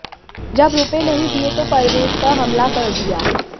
जब रुपए नहीं दिए तो परवेज पर हमला कर दिया